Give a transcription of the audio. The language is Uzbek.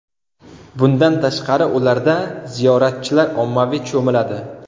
Bundan tashqari, ularda ziyoratchilar ommaviy cho‘miladi.